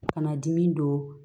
Kana dimi don